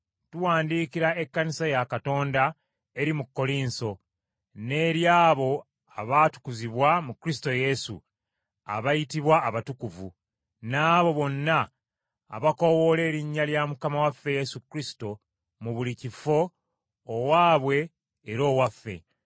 tuwandiikira ekkanisa ya Katonda eri mu Kkolinso n’eri abo abaatukuzibwa mu Kristo Yesu, abayitibwa abatukuvu, n’abo bonna abakoowoola erinnya lya Mukama waffe Yesu Kristo mu buli kifo, owaabwe era owaffe;